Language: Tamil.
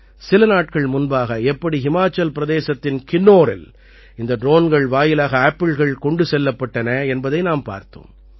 சில நாட்கள் முன்பாக எப்படி ஹிமாச்சல் பிரதேசத்தின் கின்னோரில் இந்த ட்ரோன்கள் வாயிலாக ஆப்பிள்கள் கொண்டு செல்லப்பட்டன என்பதை நாம் பார்த்தோம்